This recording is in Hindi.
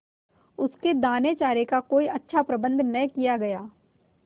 उसके दानेचारे का कोई अच्छा प्रबंध न किया गया